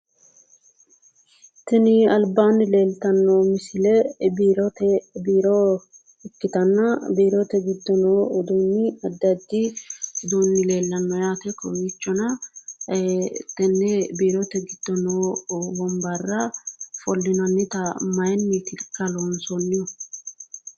Tini albaanni leeltanno misile biiro ikkitanna biirote giddo noo uduunni addi addi udduunni leellanno yaate kowiichona tenne biirote giddo noo wombarra ofollinannita mayinnitikka loonsoonnihu?